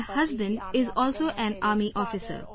My husband is an Army officer